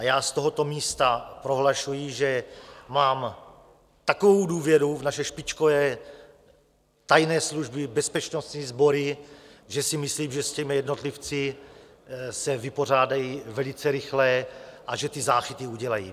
A já z tohoto místa prohlašuji, že mám takovou důvěru v naše špičkové tajné služby, bezpečnostní sbory, že si myslím, že s těmi jednotlivci se vypořádají velice rychle a že ty záchyty udělají.